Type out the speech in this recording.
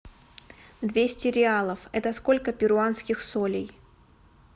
двести реалов это сколько перуанских солей